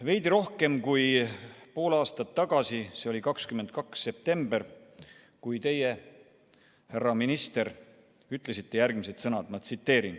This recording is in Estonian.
Veidi rohkem kui pool aastat tagasi, 22. septembril ütlesite teie, härra minister, järgmised sõnad.